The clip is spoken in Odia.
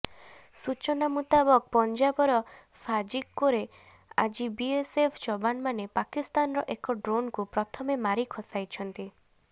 ସୂଚନା ମୁତାବକ ପଞ୍ଜାବର ଫାଜିକ୍କୋରେ ଆଜି ବିଏସଏଫ୍ ଯବାନମାନେ ପାକିସ୍ତାନର ଏକ ଡ୍ରୋନକୁ ପ୍ରଥମେ ମାରି ଖସାଇଛନ୍ତି